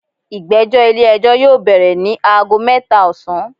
Igbẹjọ ile-ẹjọ yoo bẹrẹ ni aago mẹta osan